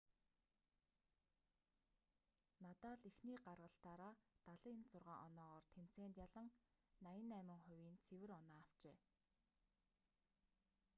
надал эхний гаргалтаараа 76 оноогоор тэмцээнд ялан 88%-ийн цэвэр оноо авчээ